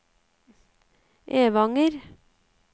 Evanger